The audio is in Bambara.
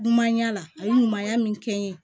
Dunumanya la a ye ɲumanya min kɛ n ye